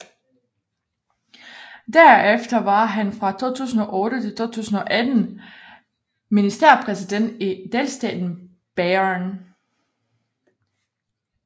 Derefter var han fra 2008 til 2018 ministerpræsident i delstaten Bayern